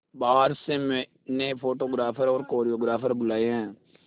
बाहर से मैंने फोटोग्राफर और कोरियोग्राफर बुलाये है